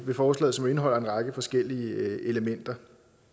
med forslaget som indeholder en række forskellige elementer